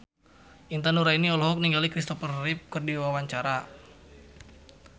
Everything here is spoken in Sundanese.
Intan Nuraini olohok ningali Kristopher Reeve keur diwawancara